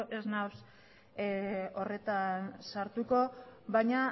ez naiz horretan sartuko baina